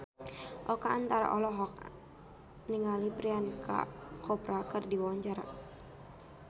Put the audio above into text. Oka Antara olohok ningali Priyanka Chopra keur diwawancara